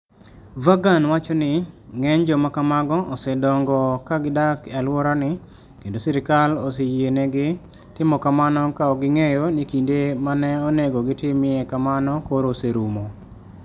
Vaughan wacho ni, "Ng'eny joma kamago osedongo ka gidak e alworani kendo sirkal oseyienegi timo kamano ka ok ging'eyo ni kinde ma ne onego gitimie kamano koro oserumo". "